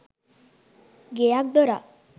ගෙයක් දොරක්